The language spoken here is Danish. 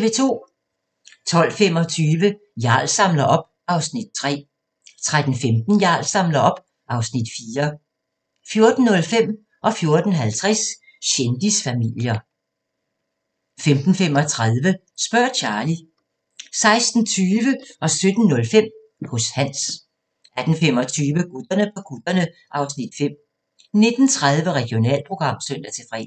12:25: Jarl samler op (Afs. 3) 13:15: Jarl samler op (Afs. 4) 14:05: Kendisfamilier 14:50: Kendisfamilier 15:35: Spørg Charlie 16:20: Hos Hans 17:05: Hos Hans 18:25: Gutterne på kutterne (Afs. 5) 19:30: Regionalprogram (søn-fre)